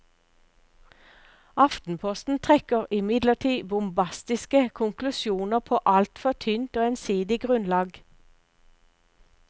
Aftenposten trekker imidlertid bombastiske konklusjoner på altfor tynt og ensidig grunnlag.